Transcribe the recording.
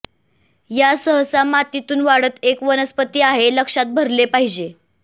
या सहसा मातीतून वाढत एक वनस्पती आहे लक्षात भरले पाहिजे